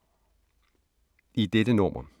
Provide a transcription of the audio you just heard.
I dette nummer